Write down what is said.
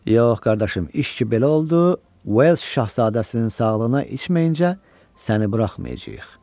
Yox, qardaşım, iş ki belə oldu, Wells Şahzadəsinin sağlığına içməyincə səni buraxmayacağıq.